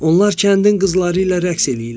Onlar kəndin qızları ilə rəqs eləyirlər.